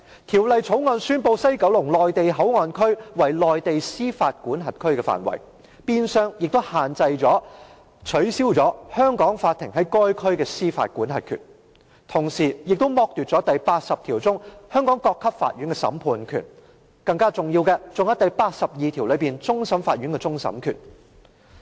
《條例草案》宣布西九龍站內地口岸區為內地司法管轄區的範圍，變相取消了香港法庭在該區的司法管轄權，同時亦剝奪了第八十條所賦予香港各級法院的審判權，更甚的是第八十二條所賦予香港終審法院的終審權。